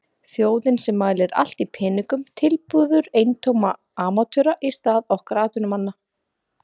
Þjóðin sem mælir allt í peningum tilbiður eintóma amatöra í stað okkar atvinnumannanna.